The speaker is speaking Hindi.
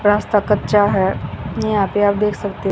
रास्ता कच्चा है यहां पे आप देख सकते--